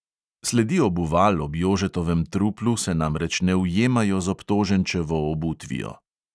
Sledi obuval ob jožetovem truplu se namreč ne ujemajo z obtoženčevo obutvijo.